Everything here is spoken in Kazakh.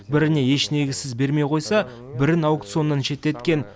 біріне еш негізсіз бермей қойса бірін аукционнан шеттеткен